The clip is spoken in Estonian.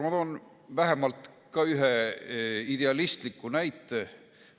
Ma toon vähemalt ühe idealistliku näite.